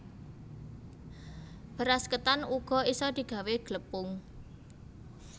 Beras ketan uga isa digawé glepung